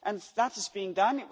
That is being done.